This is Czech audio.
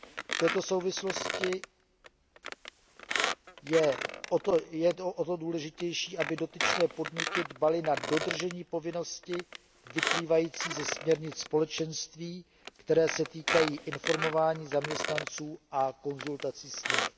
V této souvislosti je o to důležitější, aby dotyčné podniky dbaly na dodržení povinnosti vyplývající ze směrnic Společenství, které se týkají informování zaměstnanců a konzultací s nimi.